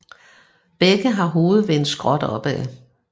Begge har hovedet vendt skråt opad